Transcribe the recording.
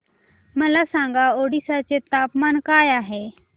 मला सांगा ओडिशा चे तापमान काय आहे